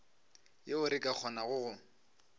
yeo re ka kgonago go